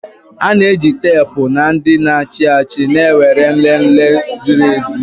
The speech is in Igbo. A na-eji teepu na ndị na-achị achị na-ewere nlele ziri ezi